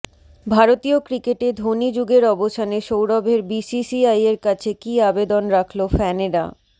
ভারতীয় ক্রিকেটে ধোনি যুগের অবসানে সৌরভের বিসিসিআইয়ের কাছে কী আবেদন রাখল ফ্যানেরা